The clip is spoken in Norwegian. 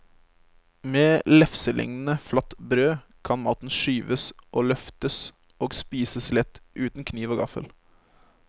Med lefselignende flatt brød kan maten skyves og løftes og spises lett uten kniv og gaffel.